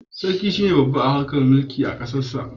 Sarki shi ne babba a harkar mulki a kasarsa.